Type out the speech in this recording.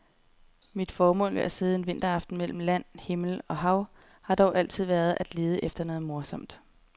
Mit formål med at sidde en vinteraften mellem land, himmel og hav har dog aldrig været at lede efter noget morsomt.